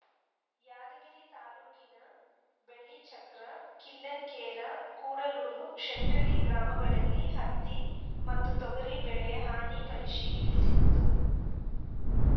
ಯಾದಗಿರಿ ತಾಲೂಕಿನ ಬಳಿಚಕ್ರ ಕಿಲ್ಲನಕೇರಾ ಕೂಡಲೂರು ಶೆಟ್ಟಳ್ಳಿ ಗ್ರಾಮಗಳಲ್ಲಿ ಹತ್ತಿ ಮತ್ತು ತೊಗರಿ ಬೆಳೆ ಹಾನಿ ಪರಿಶೀಲಿಸಿತ್ತು